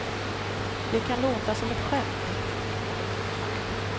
Det kan låta som ett skämt.